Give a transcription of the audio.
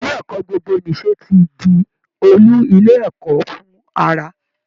Ilé ẹ̀kọ́ gbogbo-nìṣe ti di olú ilé ẹ̀kọ́ fún àrà